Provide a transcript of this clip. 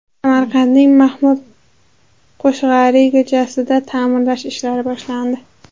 Samarqandning Mahmud Qoshg‘ariy ko‘chasida ta’mirlash ishlari boshlandi.